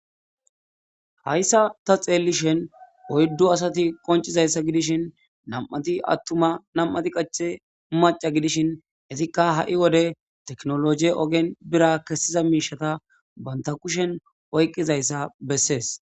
Hayssa ta xeellishen oyddu asati qoncizayssa gidishin nam'ati attuma nam'ati qache maca gidishin hezikka ha'i wode teknologie ogen bira kessiza miishata banta kushen oyqqizayssa bessees.